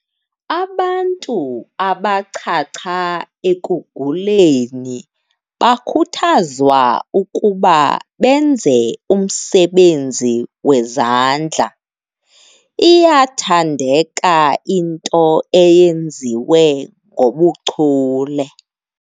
Abantu abachacha ekuguleni bakhuthazwa ukuba benze umsebenzi wezandla. iyathandeka into eyenziwe ngobuchule